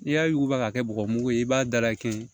N'i y'a yuguba k'a kɛ bɔgɔ mugu ye i b'a da kɛ